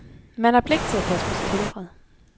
Man har pligt til at passe på sit helbred.